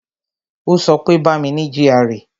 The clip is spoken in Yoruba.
Ó sọ pé "Bá mi ní GRA"